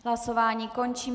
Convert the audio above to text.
Hlasování končím.